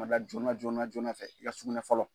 joona joona fɛ i ka sugunɛ fɔlɔ.